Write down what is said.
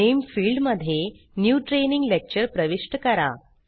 नामे field मध्ये new training lecture प्रविष्ट करा